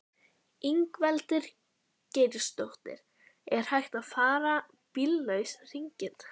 Ingveldur Geirsdóttir: Er hægt að fara bíllaus hringinn?